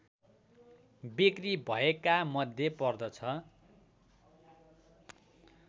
बिक्री भएकामध्ये पर्दछ